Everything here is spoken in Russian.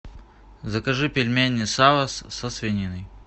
закажи пельмени савос со свининой